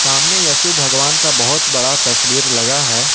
हमने यशु भगवान का बहुत बड़ा तस्वीर लगा है।